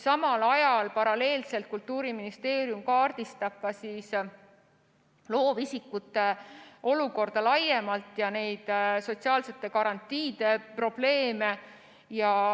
Samal ajal Kultuuriministeerium kaardistab loovisikute olukorda laiemalt ja sotsiaalsete garantiide probleeme.